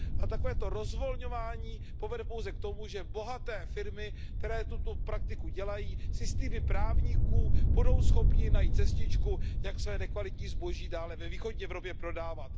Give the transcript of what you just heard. Takovéto rozvolňování povede pouze k tomu, že bohaté firmy, které tuto praktiku dělají, si s týmy právníků budou schopny najít cestičku, jak své nekvalitní zboží dále ve východní Evropě prodávat.